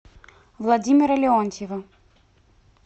владимира леонтьева